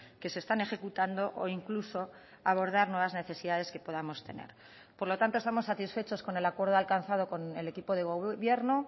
que se están ejecutando o incluso abordar nuevas necesidades que podamos tener por lo tanto estamos satisfechos con el acuerdo alcanzado con el equipo de gobierno